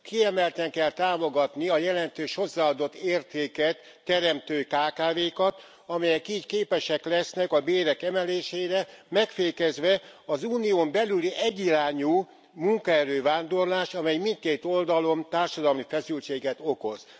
Kiemelten kell támogatni a jelentős hozzáadott értéket teremtő kkv kat, amelyek így képesek lesznek a bérek emelésére, megfékezve az Unión belüli egyirányú munkaerő vándorlást, ami mindkét oldalon társadalmi feszültséget okoz.